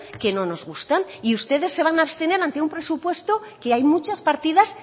que no nos gustan y ustedes se van a abstener ante un presupuesto que hay muchas partidas